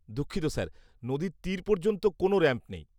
-দুঃখিত স্যার, নদীর তীর পর্যন্ত কোনও র‍্যাম্প নেই।